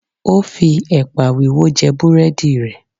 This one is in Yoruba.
O fi ẹ̀pà wíwó jẹ búrẹ́dì rẹ̀.